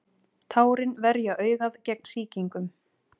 tárin verja augað gegn sýkingum